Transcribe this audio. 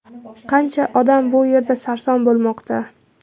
Qancha odam bu yerda sarson bo‘lmoqda.